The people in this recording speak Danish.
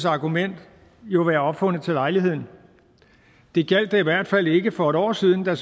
argument jo være opfundet til lejligheden det gjaldt da i hvert fald ikke for et år siden da